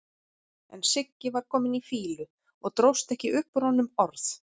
En Siggi var kominn í fýlu og dróst ekki upp úr honum orð.